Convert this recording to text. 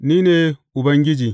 Ni ne Ubangiji.